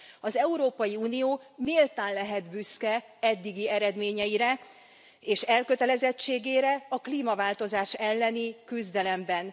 Az Európai Unió méltán lehet büszke eddigi eredményeire és elkötelezettségére a klímaváltozás elleni küzdelemben.